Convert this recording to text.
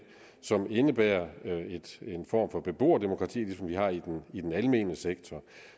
som indebærer en form for beboerdemokrati som det vi har i i den almene sektor